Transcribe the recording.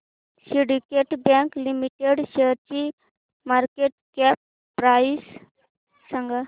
Syndicate bank limited शेअरची market cap price सांगा